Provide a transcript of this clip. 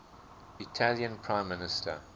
italian prime minister